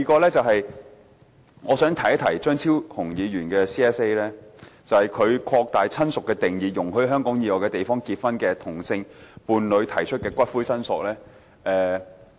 第三，我想提一提張超雄議員的 CSA， 他提出擴大親屬的定義，容許在香港以外地方結婚的同性伴侶提出的骨灰申索。